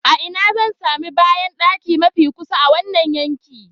A ina zan sami bayandaki mafi kusa a wannan yanki?